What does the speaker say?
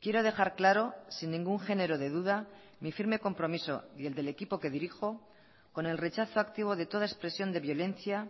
quiero dejar claro sin ningún género de duda mi firme compromiso y el del equipo que dirijo con el rechazo activo de toda expresión de violencia